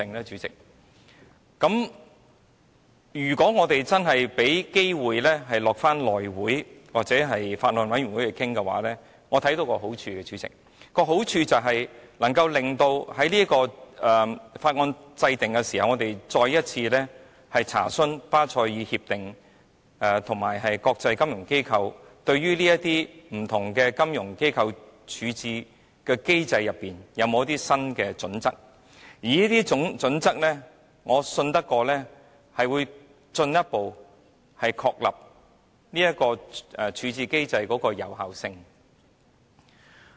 主席，如果我們真的有機會交付內務委員會處理或交由法案委員會討論的話，我看到的好處是在審議法案的時候，我們可以再一次進行查詢，看看對於不同金融機構的處置機制，巴塞爾協定及國際金融機構有否一些新的準則，而我相信這些準則將進一步確立處置機制的有效性。